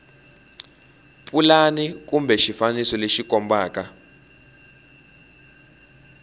pulani kumbe xifaniso lexi kombaka